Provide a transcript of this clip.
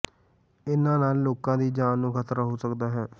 ਇਹਨਾਂ ਨਾਲ ਲੋਕਾਂ ਦੀ ਜਾਨ ਨੂੰ ਖਤਰਾ ਹੋ ਸਕਦਾ ਹੈ